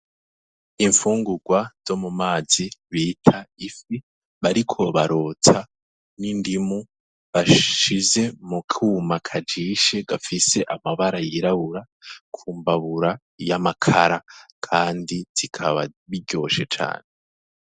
Imfungurwa zo mu mazi bita ifi bariko barotsa n'indimu bashize mu kuma kajishe gafise amabara yirabura ku mbabura y'amakara, kandi zikaba biryoshe cane.